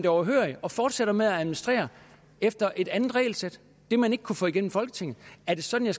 overhørig og fortsætter med at administrere efter et andet regelsæt når man ikke kunne få det igennem folketinget er det sådan